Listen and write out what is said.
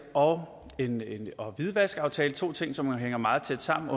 og en hvidvaskaftale to ting som hænger meget tæt sammen